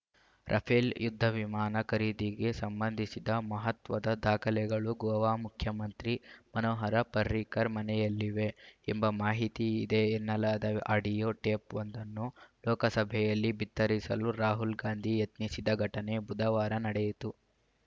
Rafale ಯುದ್ಧ ವಿಮಾನ ಖರೀದಿಗೆ ಸಂಬಂಧಿಸಿದ ಮಹತ್ವದ ದಾಖಲೆಗಳು ಗೋವಾ ಮುಖ್ಯಮಂತ್ರಿ ಮನೋಹರ ಪರ್ರಿಕರ್‌ ಮನೆಯಲ್ಲಿವೆ ಎಂಬ ಮಾಹಿತಿ ಇದೆ ಎನ್ನಲಾದ ಆಡಿಯೋ ಟೇಪ್‌ವೊಂದನ್ನು ಲೋಕಸಭೆಯಲ್ಲಿ ಬಿತ್ತರಿಸಲು ರಾಹುಲ್‌ ಗಾಂಧಿ ಯತ್ನಿಸಿದ ಘಟನೆ ಬುಧವಾರ ನಡೆಯಿತು